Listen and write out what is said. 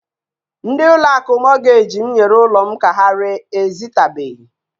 Ndi ụlọ akụ Mọtgej m nyere ụlọ m ka ha ree ezitabeghi.